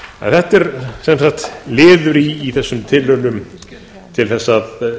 þetta er sem sagt liður í þessum tilraunum til að